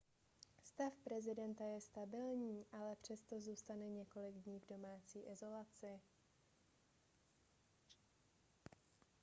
stav prezidenta je stabilní ale přesto zůstane několik dní v domácí izolaci